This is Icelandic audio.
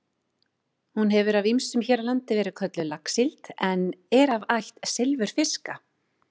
Hún hefur af ýmsum hér á landi verið kölluð laxsíld en er af ætt silfurfiska.